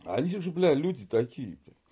они же блядь люди такие то